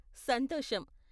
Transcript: సంతోషం.